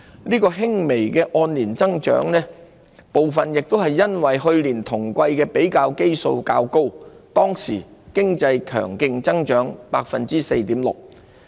這輕微的按年增長部分亦由於去年同季的比較基數較高，當時經濟強勁增長 4.6%。